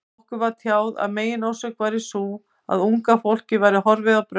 Okkur var tjáð að meginorsökin væri sú, að unga fólkið væri horfið á braut.